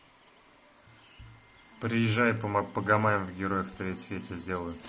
приезжай пома погамаем в героев третьих я тебя сделаю